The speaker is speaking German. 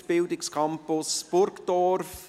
: Kredit Bildungscampus Burgdorf.